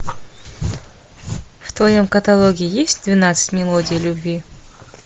в твоем каталоге есть двенадцать мелодий любви